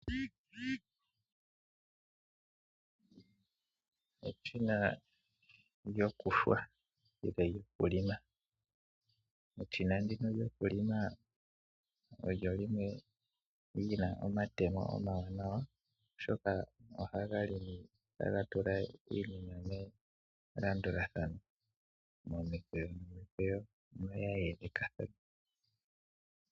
Eshina lyokuhwa nenge lyokulima eshin andino lyokulima olyo lyimwe lyin omatemo omawanawa oshoka ohaga limi taga tula iinima melandulathano momikweyo nomikqeyo iinima yayelekathana.